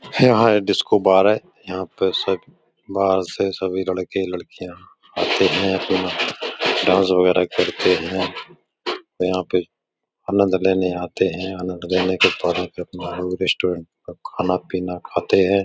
यहाँ एक डिस्कोबार है। यहाँ पे सब बाहर से सभी लड़के लड़कियाँ आते है फिर डांस वगेरा करते है। यहाँ पे आनंद लेने आते है। आनंद लेने के रेस्टोरेंट का खाना पीना खाते हैं।